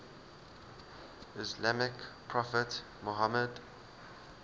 islamic prophet muhammad